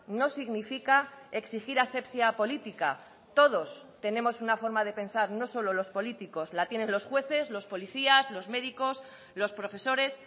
no significa exigir asepsia política todos tenemos una forma de pensar no solo los políticos la tienen los jueces los policías los médicos los profesores